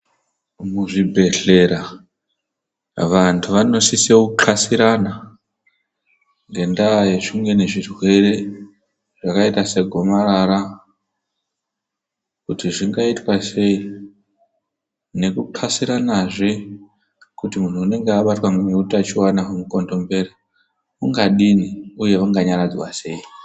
Muzvibhedhlera vanhtu vanosisa kuqhasirana ngendaa yezvimweni zvirwere zvakaita segomarara kuti zvingaitwa sei nekuqhasiranazve kuti munhtu anenge abatwa nehutachiona wemukondombera ungadini uye anga nyaradzwa sei.